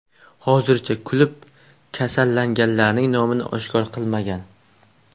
Hozircha klub kasallanganlarning nomini oshkor qilmagan.